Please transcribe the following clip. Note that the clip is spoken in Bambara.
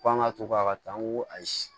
Ko an ka to ka taa an ko ayi